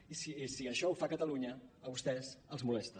i si això ho fa catalunya a vostès els molesta